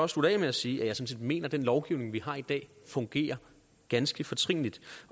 slutte af med at sige at jeg sådan set mener at den lovgivning vi har i dag fungerer ganske fortrinligt